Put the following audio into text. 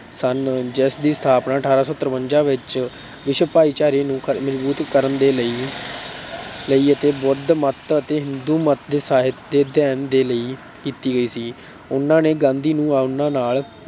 ਸਨ ਜਿਸ ਦੀ ਸਥਾਪਨਾ ਅਠਾਰਾਂ ਸੌ ਤਰਵੰਜਾ ਵਿੱਚ ਵਿਸ਼ਵ ਭਾਈਚਾਰਗੀ ਨੂੰ ਮਜ਼ਬੂਤ ਕਰਨ ਦੇ ਲਈ ਅਤੇ ਬੁੱਧ ਮੱਤ ਅਤੇ ਹਿੰਦੂ ਮੱਤ ਦੇ ਸਾਹਿਤ ਦੇ ਅਧਿਐਨ ਦੇ ਲਈ ਕੀਤੀ ਗਈ ਸੀ। ਉਨ੍ਹਾਂ ਨੇ ਗਾਂਧੀ ਨੂੰ ਉਨ੍ਹਾਂ ਨਾਲ